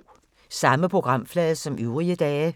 Samme programflade som øvrige dage